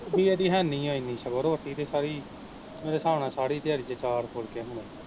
ਰੋਟੀ ਏਹਦੀ ਹੈਨੀ ਆ ਏਨੀ ਸਗੋਂ ਰੋਟੀ ਤੇ ਸਾਰੀ, ਮੇਰੇ ਹਿਸਾਬ ਸਾਰੀ ਦਿਆੜੀ ਚ ਚਾਰ ਫੁਲਕੇ ਹੋਣੇ